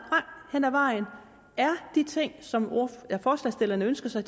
hen ad vejen er de ting som forslagsstillerne ønsker sig